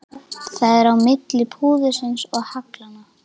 Það er á milli púðursins og haglanna.